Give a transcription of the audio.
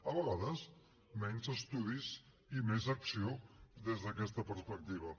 a vegades menys estudis i més acció des d’aquesta perspectiva